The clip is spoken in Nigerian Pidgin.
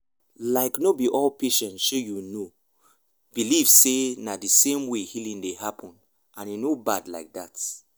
make we pause if we join hospital care with people belief system e go help patients go help patients get better well well.